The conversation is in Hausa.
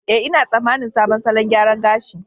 Eh, ina tsammanin sabon salon gyaran gashi.